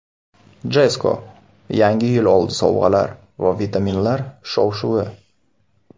Jesco: Yangi yil oldi sovg‘alar va vitaminlar shov-shuvi!.